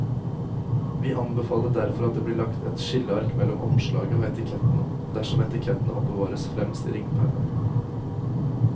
Vi anbefaler derfor at det blir lagt et skilleark mellom omslaget og etikettene dersom etikettene oppbevares fremst i ringpermen.